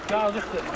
Yazıqdır.